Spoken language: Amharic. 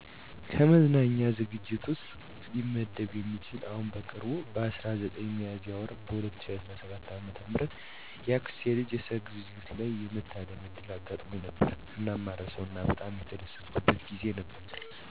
ከመዝናኛ ዝግጅት ውስጥ ሊመደብ የሚችል አሁን በቅርቡ በ19 ሚያዝያ ወር 2017 ዓ.ም የአክስቴ ልጅ የሠርግ ዝግጅት ላይ የመታደም ዕድል አጋጥሞኝ ነበር። እናም ማረሳው እና በጣም የተደሰትኩበት ጊዜ ነበር። ከቤተሰብ፣ ወዳጅ፣ ዘመድ አዝማድ እንዲሁም ከቀዬው ማህበረሰብ ጋር ነበር ያሳለፍኩት። የማይረሳ ጊዜ ካደረጉልኝ ምክንያቶች ውስጥ ከእርድ ስነ-ስርአቱ ጀምሮ እስከ ምግብ አዘገጃጀቱ ድረስ ያለው ባህላዊ አንድምታውን ያለቀቀ በመሆኑ ነው። እንዲሁም በሠርጉ ቀን የነበረው ባህላዊ ጭፈራ፣ የቀለበት ስነ-ስርዓቱ፣ ምርቃቱ፣ ሽልማቱ በተጨማሪም ከዘመድ አዝማዱ ጋር የነበረው ጨዋታ የማረሳው ጊዜ እንዲሆን አድርጎታል።